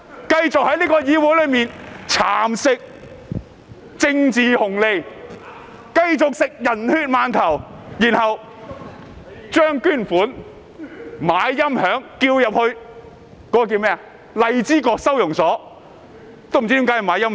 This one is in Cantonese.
"，繼續在議會裏蠶食"政治紅利"、"人血饅頭"，然後用捐款來購買音響，說要送去荔枝角收押所。